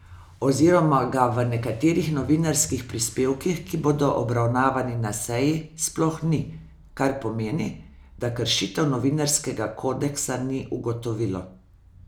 Oziroma ga v nekaterih novinarskih prispevkih, ki bodo obravnavani na seji, sploh ni, kar pomeni, da kršitev novinarskega kodeksa ni ugotovilo.